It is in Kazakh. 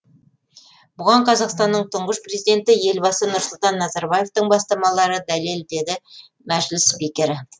бұған қазақстанның тұңғыш президенті елбасы нұрсұлтан назарбаевтың бастамалары дәлел деді мәжіліс спикері